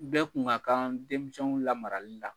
Bɛ kun ka kan denmisɛnw lamarali la.